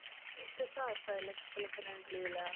Viltu það sagði leikskólakennarinn blíðlega.